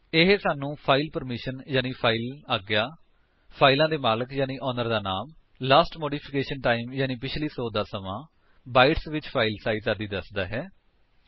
ਇਹ ਸਾਨੂੰ file permission ਯਾਨੀ ਫਾਇਲ ਆਗਿਆ ਫਾਇਲ ਦੇ ਮਾਲਕ ਯਾਨੀ ਓਨਰ ਦਾ ਨਾਮ ਲਾਸਟ ਮੋਡਿਫਿਕੇਸ਼ਨ ਟਾਇਮ ਯਾਨੀ ਪਿੱਛਲੀ ਸੋਧ ਦਾ ਸਮਾਂ ਬਾਇਟਸ ਵਿੱਚ ਫਾਇਲ ਸਾਇਜ ਆਦਿ ਦੱਸਦਾ ਹੈ